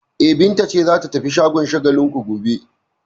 E, Binta ce za ta tafi shagon Shagalinku gobe.